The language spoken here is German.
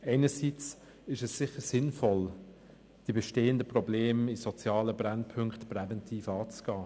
Einerseits ist es sicher sinnvoll, die bestehenden Probleme an sozialen Brennpunkten präventiv anzugehen.